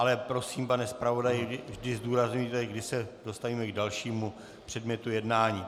Ale prosím, pane zpravodaji, vždy zdůrazňujte, kdy se dostaneme k dalšímu předmětu jednání.